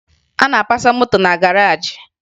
A na-apasa moto na garaajị